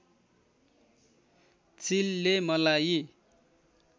चिलले मलाई